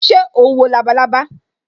Ṣé o ń wo labalábá